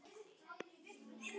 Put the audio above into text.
Vinkonur, við erum vinkonur Jahá.